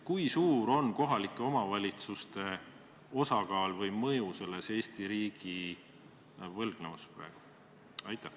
Kui suur on kohalike omavalitsuste osakaal Eesti riigi võlgnevuses praegu või mõju sellele?